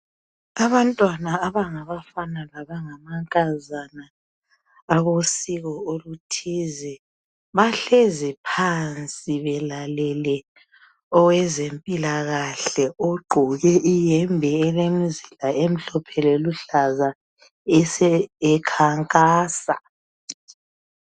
abantwana abangabafana labangamankazana abosiko oluthizi bahlezi phansi belalele owezempilakahle ogqoke ihembe elemzila emhlophe leluhlaza ekhankasa